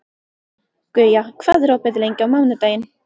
Guja, hvað er opið lengi á mánudaginn?